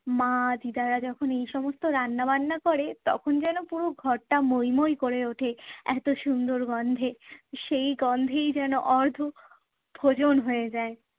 মা দিদারা যখন এই সমস্ত রান্না বান্না করে তখন যেন পুরো ঘরটা মোই মোই করে ওঠে এতো সুন্দর গন্ধে। সেই গন্ধেই যেন অর্ধ ভোজন হয়ে যায়।